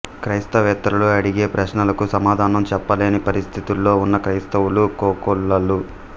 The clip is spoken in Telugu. క్రైస్తవేతరులు అడిగే ప్రశ్నలకు సమాధానం చెప్పలేని పరిస్థితుల్లో ఉన్న క్రైస్తవులు కోకొల్లలు